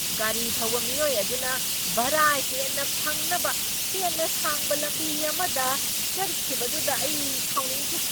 ꯒꯥꯔꯤ ꯊꯧꯕ ꯃꯤꯑꯣꯏ ꯑꯗꯨꯅ ꯚꯔꯥ ꯍꯦꯟꯅ ꯐꯪꯅꯕ ꯍꯦꯟꯅ ꯁꯥꯡꯕ ꯂꯝꯕꯤ ꯑꯃꯗ ꯆꯠꯈꯤꯕꯗꯨꯗ ꯑꯩ ꯁꯥꯎꯅꯤꯡꯈꯤ꯫